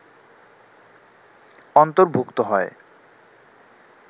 অন্তর্ভুক্ত হয়